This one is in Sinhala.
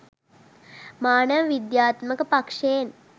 මානව විද්‍යාත්මක පක්ෂයෙන්